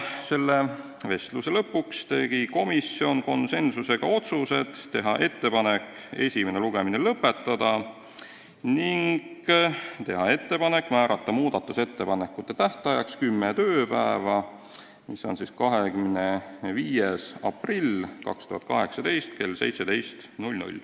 Selle vestluse lõpuks tegi komisjon konsensusega otsused: teha ettepanek esimene lugemine lõpetada ning määrata muudatusettepanekute tähtajaks kümme tööpäeva ehk 25. aprill 2018 kell 17.